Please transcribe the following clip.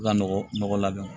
U ka nɔgɔ labɛn